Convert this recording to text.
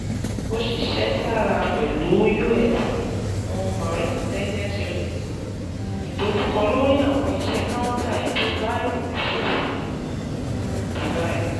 O ṣiṣẹ taara pẹlu U.S. um Marines Intelligence Unit, um idojukọ lori awọn iṣẹ Counter Improvised Explosive um Device